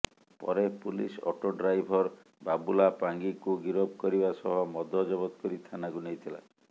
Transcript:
ପରେ police auto driver Babula ପାଙ୍ଗିଙ୍କୁ ଗିରଫ କରିବା ସହ ମଦ ଜବତ କରି ଥାନାକୁ ନେଇଥିଲା